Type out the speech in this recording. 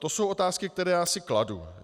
To jsou otázky, které já si kladu.